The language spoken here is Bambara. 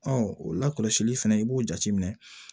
Ɔ o la kɔlɔsili fɛnɛ i b'o jateminɛ